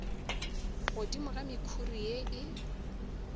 godimo ga mekhuri ye e